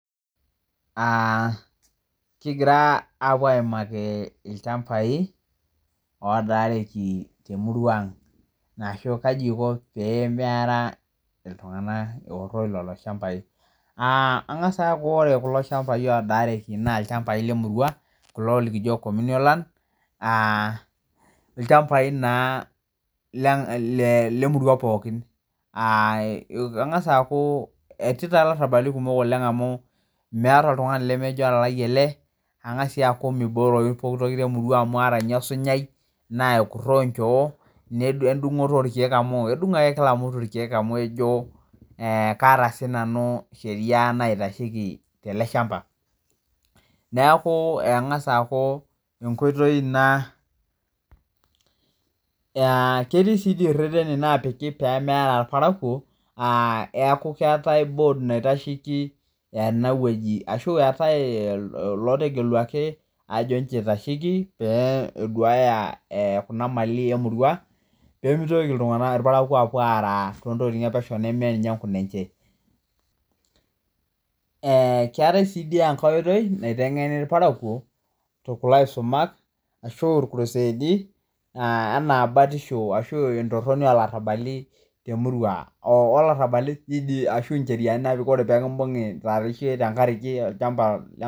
Kigira aapo aimaki ilchambai oodaareki te murua aang' ashu kaji eiko pee arara ltungana eworo lelo chambaii, aa engas aaku ore kulo chambai odaareki naa ilchambai le murua, kulo likijo communal land, aa ilchambai naa le murua pookin, aa engas aaku etii taa ilarabali kumok oleng amu meata oltungani lemejo lalali ale angaas sii aku peibooyoru pooki toki te murua amuu ara ninye esunyai naa ekuroo inchoo, netii endung'oto orkeek amu edung' ake kila mtu irkeek amu ejo, kaata sii nanu esheriaa naitasheki tale ilshamba, naaku engas aaku enkoitoi ina a ketii sii reteni naapiki peeara ilparako, aa neaku keatae bood naitasheki enaweji ashu eatae lootegeluaki ajo inchoo eitasheki pee eduaya kuna malii emurua, pemeitoki ltungana, ilparako aapuo aaraa too ntokitin epesheu nemee ninye enkunenje. Keatae sii enake oitoi naitengeni ilparako kulo aisomak ashu lkuruseedi anaa batisho ashu entoroni elarabali te murrua, olarabali ajo dei incheriani naapiki ore peekimbung'i tengaraki ilshamba.